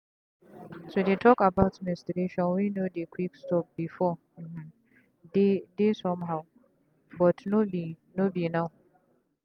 to dey talk about menstruation wey no dey quick stop beforeuhmm! deydey somehow but no be be now.